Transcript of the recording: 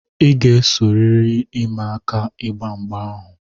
I ga-esorịrị ịma aka ịgba mgba ahụ!